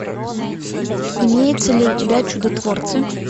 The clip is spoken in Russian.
имеется ли у тебя чудотворцы